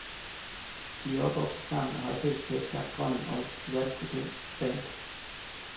De¨er opvokset sammen og har i fællesskab skabt drømmen om et verdenskendt band.